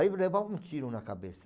Aí levava um tiro na cabeça.